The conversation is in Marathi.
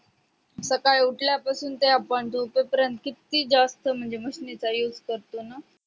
सकाळी उठल्या पासून ते आपण झोपे पर्यंत किती जास्त म्हणजे machine चा जास्त used करतो ना